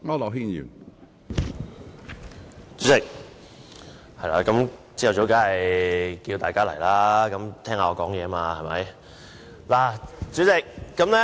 主席，早上當然要叫喚大家回來聽我發言了。